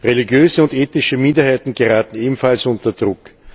Religiöse und ethnische Minderheiten geraten ebenfalls unter Druck.